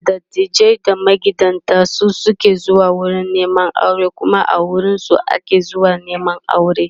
da dattijai da magidanta su suke zuwa wurin Neman aure Kuma a wurinsu ake zuwa Neman aure